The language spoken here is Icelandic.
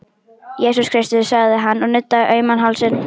Jesús Kristur, sagði hann og nuddaði auman hálsinn.